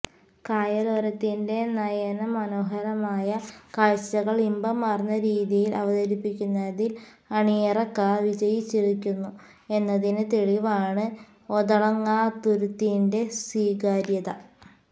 കായലോരത്തിന്റെ നയനമനോഹരമായ കാഴ്ചകൾ ഇമ്പമാർന്ന രീതീയിൽ അവതരിപ്പിക്കുന്നതിൽ അണിയറക്കാർ വിജയിച്ചിരിക്കുന്നു എന്നതിന് തെളിവാണ് ഒതളങ്ങാതുരുത്തിന്റെ സ്വീകാര്യത